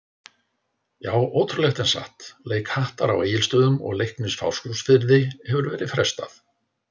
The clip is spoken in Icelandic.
Já ótrúlegt en satt, leik Hattar á Egilsstöðum og Leiknis Fáskrúðsfirði hefur verið frestað.